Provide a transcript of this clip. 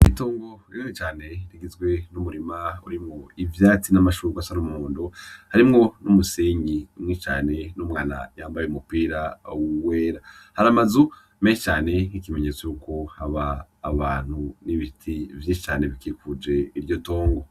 Itongo rinini cane rigizwe n'umurima urimwo ivyatsi n'amashurwe asa n'umuhondo. Harimwo n'umuseyi mwinshi cane n'umwana yambaye umupira wera. Hari amazu menshi cane nk'ikimenyetso yuko haba abantu n'ibiti vyishi cane bikikuje iryo tongo.